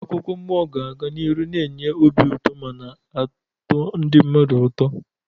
Akụkọ mmụọ ga-aga n'ihu na-enye obi ụtọ mana atọ ndị mmadụ ụtọ.